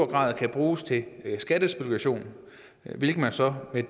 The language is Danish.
grad kan bruges til skattespekulation hvilket man så med